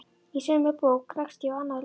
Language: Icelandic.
Í sömu bók rakst ég á annað ljóð